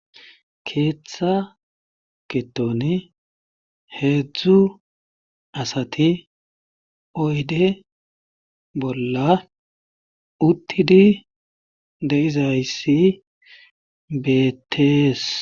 keeththa gidon heedzdzu asati oyde bolla uttidi de7izayssi beetees